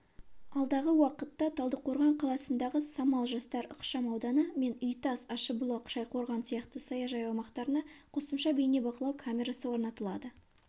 алдағы уақытта талдықорған қаласындағы самал жастар ықшам ауданы мен үйтас ащыбұлақ шайқорған сияқты саяжай аумақтарына қосымша бейнебақылау камерасы орнатылады